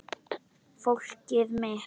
Fólkið mitt